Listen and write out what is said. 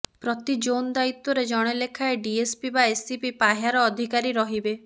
ପ୍ରତି ଜୋନ୍ ଦାୟିତ୍ୱରେ ଜଣେ ଲେଖାଏଁ ଡିଏସ୍ପି ବା ଏସିପି ପାହ୍ୟାର ଅଧିକାରୀ ରହିବେ